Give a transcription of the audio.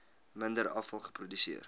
minder afval geproduseer